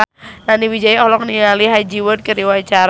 Nani Wijaya olohok ningali Ha Ji Won keur diwawancara